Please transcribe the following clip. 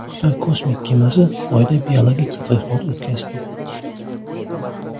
Xitoy kosmik kemasi Oyda biologik tadqiqot o‘tkazdi.